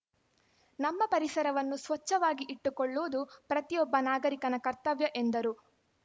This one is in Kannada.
ನಮ್ಮ ಪರಿಸರವನ್ನು ಸ್ವಚ್ಚವಾಗಿ ಇಟ್ಟುಕೊಳ್ಳುವುದು ಪ್ರತಿಯೊಬ್ಬ ನಾಗರಿಕನ ಕರ್ತವ್ಯ ಎಂದರು